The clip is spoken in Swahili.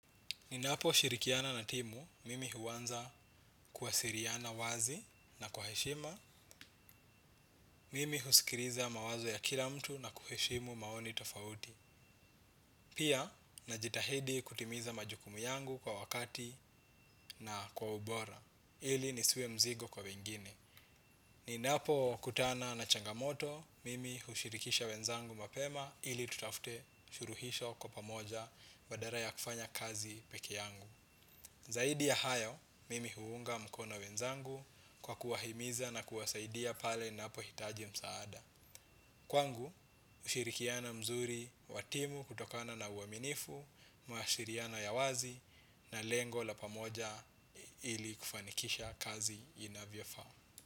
Ninaposhirikiana na timu, mimi huanza kuwasiliana wazi na kwa heshima, mimi husikiliza mawazo ya kila mtu na kuheshimu maoni tafauti. Pia, najitahidi kutimiza majukumu yangu kwa wakati na kwa ubora, ili nisiwe mzigo kwa wengine. Ninapokutana na changamoto, mimi hushirikisha wenzangu mapema ili tutafte shuluhisho kwa pamoja badala ya kufanya kazi peki yangu. Zaidi ya hayo, mimi huunga mkono wenzangu kwa kuwahimiza na kuwasaidia pale wanapohitaji msaada. Kwangu, ushirikiano mzuri, wa timu kutokana na uaminifu, mawasilano ya wazi na lengo la pamoja ili kufanikisha kazi inavya fao.